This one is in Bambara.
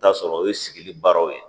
Taa sɔrɔ o ye sigili baaraw ye